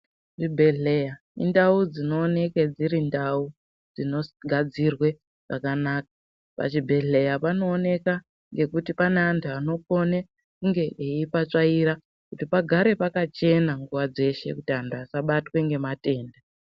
Chibhedhlera indau dzino oneke dziri ndau dzino gadzirwe pakanaka pa chibhedhleya pano oneka nekuti pane antu anokone kunge veipa tsvaira kuti pagare pakachena nguva dzeshe kuti antu asabatwe ne matenda.